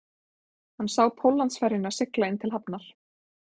Hann sá Póllandsferjuna sigla inn til hafnar